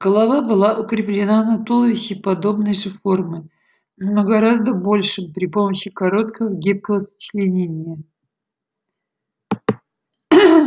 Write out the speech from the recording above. голова была укреплена на туловище подобной же формы но гораздо большем при помощи короткого гибкого сочленения